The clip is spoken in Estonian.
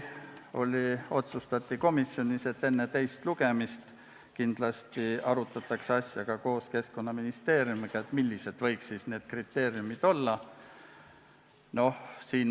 Samuti otsustati komisjonis, et enne teist lugemist arutatakse kindlasti ka Keskkonnaministeeriumiga läbi, millised need kriteeriumid olla võiksid.